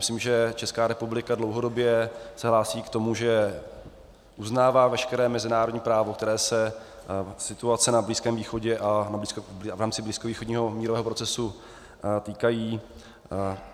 Myslím, že Česká republika dlouhodobě se hlásí k tomu, že uznává veškeré mezinárodní právo, které se situace na Blízkém východě a v rámci blízkovýchodního mírového procesu týká.